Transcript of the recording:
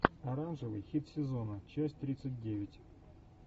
оранжевый хит сезона часть тридцать девять